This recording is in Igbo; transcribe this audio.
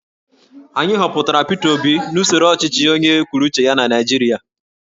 Anyị họpụtara Peter Obi n'usoro ọchịchị onye kwuru uche ya na Naijiria